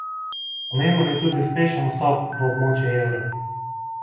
Pomemben je tudi uspešen vstop v območje evra.